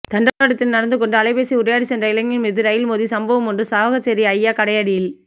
தண்டவாளத்தில் நடந்துகொண்டு அலைபேசியில் உரையாடிச்சென்ற இளைஞன் மீது ரயில் மோதிய சம்பவமொன்று சாவகச்சேரி ஐயா கடையடியில்